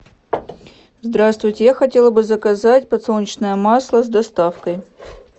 здравствуйте я хотела бы заказать подсолнечное масло с доставкой